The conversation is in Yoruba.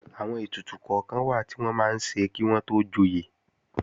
Àwọn ètùtù kọ́kan wà tí wọ́n máa ń ṣe kí wọ́n tó joyè